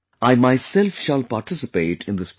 I myself shall participate in this program